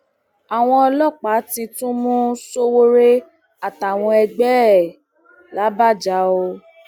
àwọn ọlọpàá ti tún mú sowore àtàwọn ẹgbẹ ẹ làbàjá o